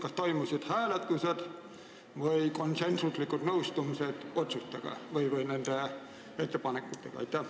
Kas toimusid hääletused või konsensuslikud nõustumised nende ettepanekutega?